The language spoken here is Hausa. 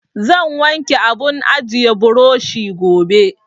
Zan wanke abun ajiye burushi gobe.